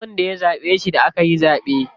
Ba wanda ya zaɓe shi da akayi zaɓe.